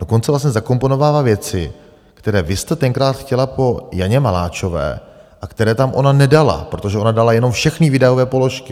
Dokonce vlastně zakomponovává věci, které vy jste tenkrát chtěla po Janě Maláčové a které tam ona nedala, protože ona dala jenom všechny výdajové položky.